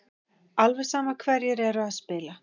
Alveg sama hverjir eru að spila.